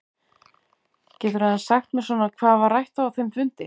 Geturðu aðeins sagt mér svona hvað var rætt á þeim fundi?